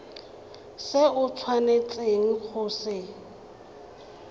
se o tshwanetseng go se